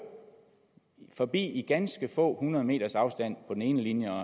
forbi i ganske få hundrede meters afstand på den ene linje og